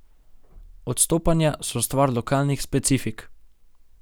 Odstopanja so stvar lokalnih specifik.